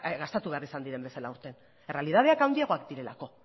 gastatu behar izan diren bezala aurten errealitateak handiagoak direlako